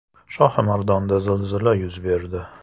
Shohimardonda zilzila yuz berdi.